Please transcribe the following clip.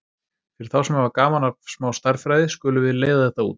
Fyrir þá sem hafa gaman að smá stærðfræði skulum við leiða þetta út: